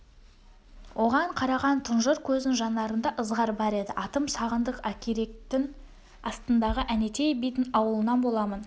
оған қараған тұнжыр көздің жанарында ызғар бар еді атым сағындық ақиректің астындағы әнетей бидін ауылынан боламын